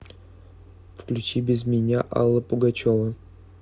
включи без меня алла пугачева